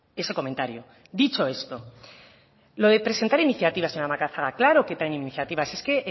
ese comentario dicho esto lo de presentar iniciativas señora macazaga claro que traen iniciativas es que